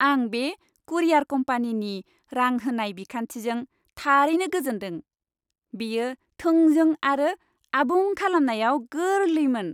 आं बे कुरियार कम्पानिनि रां होनाय बिखान्थिजों थारैनो गोजोनदों। बेयो थोंजों आरो आबुं खालामनायाव गोरलैमोन।